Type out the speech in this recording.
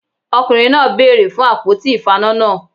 Ọkùnrin náà bèèrè fun àpótí ìfaná náà